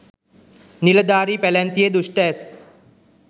නිලධාරී පැලැන්තියේ දුෂ්‍ඨ ඇස්